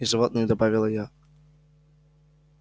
и животные добавила я